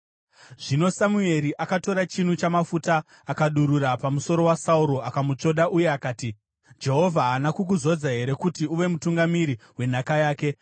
Zvino Samueri akatora chinu chamafuta akadurura pamusoro waSauro akamutsvoda uye akati, “Jehovha haana kukuzodza here kuti uve mutungamiri wenhaka yake?